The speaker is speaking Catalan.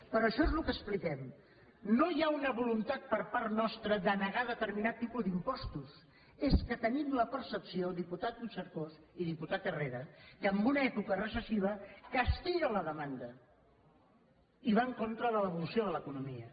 però això és el que expliquem no hi ha una voluntat per part nostra de negar determinat tipus d’impostos és que tenim la percepció diputat puigcercós i diputat herrera que en una època recessiva castiga la demanda i va en contra de l’evolució de l’economia